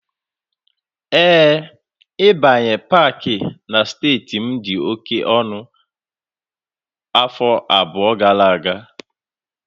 Ee, ịbanye Pááki na steeti m dị oke ọnụ afọ abụọ gara aga